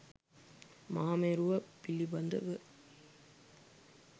මහා මේරුව පිළිබඳව